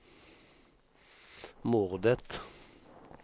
mordet